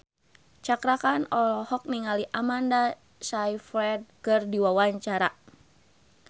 Cakra Khan olohok ningali Amanda Sayfried keur diwawancara